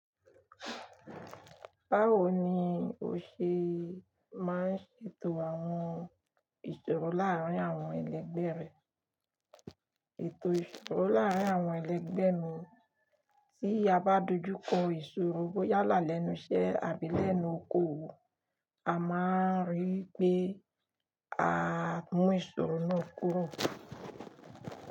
Báwo ni o ṣe máa ń ṣètò àwọn ìṣòro láàárín àwọn ẹlẹgbẹ́ rẹ? Ètò ìṣòro láàárín àwọn ẹlẹgbẹ́ mi, tí a bá dojú kọ ìṣòro bóyá lálẹ́nu iṣẹ́ àbí lẹ́nu oko owo, a máa rí pé a mú ìṣòro náà kúrò.